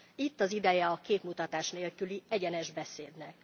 Itt az ideje a képmutatás nélküli, egyenes beszédnek.